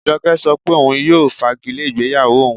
Ajọkẹ̀ sọ́ pé ọun yóò fàgìlẹ̀ igbeyáwó ọun.